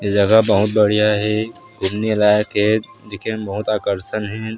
ये जगह बहुत बढ़िया हे घूमने लायक हे दिखे म बहुत आकर्सन हे।